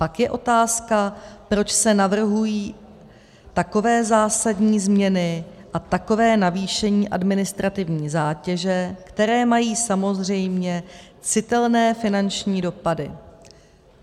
Pak je otázka, proč se navrhují takové zásadní změny a takové navýšení administrativní zátěže, které mají samozřejmě citelné finanční dopady.